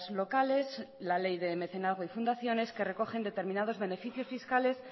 locales y la ley de mecenazgo y fundaciones que recogen determinados beneficios fiscales